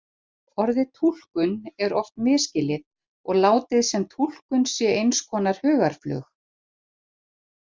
Orðið túlkun er oft misskilið og látið sem túlkun sé eins konar hugarflug.